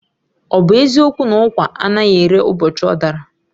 Ọ bụ eziokwu na ụkwa anaghị ere ụbọchị ọ dara?